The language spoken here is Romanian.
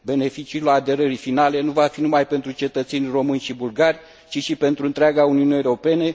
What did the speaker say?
Beneficiul aderării finale nu va fi numai pentru cetățenii români și bulgari, ci și pentru întreaga Uniune Europeană.